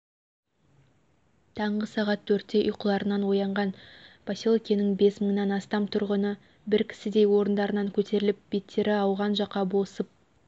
таңғы сағат төртте ұйқыларынан оянған поселкенің бес мыңнан астам тұрғыны бір кісідей орындарынан көтеріліп беттері ауған жаққа босып